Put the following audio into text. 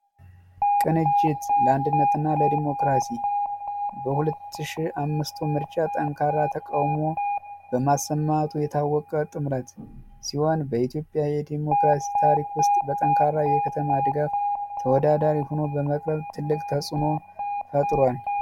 ቅንጅት ለአንድነትና ለዲሞክራሲ በ 2005 ምርጫ ጠንካራ ተቃውሞ በመሰማቱ የታወቀ ጥምረት ሲሆን በኢትዮጵያ የዲሞክራሲ ታሪክ ውስጥ የከተማ ድጋፍ ተወዳዳሪ በመሆን ትልቅ ተፅዕኖ ፈጥሯል።